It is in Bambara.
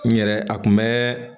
N yɛrɛ a kun bɛ